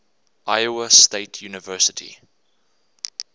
iowa state university